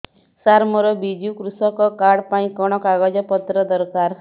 ସାର ମୋର ବିଜୁ କୃଷକ କାର୍ଡ ପାଇଁ କଣ କାଗଜ ପତ୍ର ଦରକାର